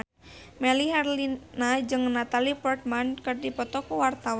Melly Herlina jeung Natalie Portman keur dipoto ku wartawan